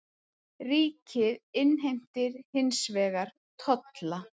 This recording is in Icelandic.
Ríkið innheimtir hins vegar tolla.